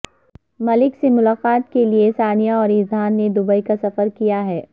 ملک سے ملاقات کے لئے ثانیہ اور اذہان نے دوبئی کا سفر کیاہے